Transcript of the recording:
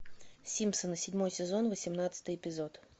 симпсоны седьмой сезон восемнадцатый эпизод